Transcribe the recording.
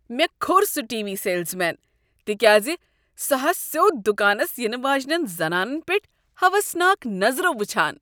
مےٚ کھوٚر سُہ ٹی وی سیلزمین تکیازِ سہاوسد دکانس ینہٕ واجنین زنانن پیٹھ ہاوسناک نظرو وچھان۔